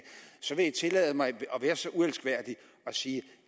så vil jeg tillade mig at være så uelskværdig at sige at